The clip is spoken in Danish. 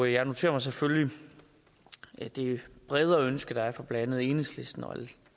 jeg noterer mig selvfølgelig det bredere ønske fra blandt andet enhedslisten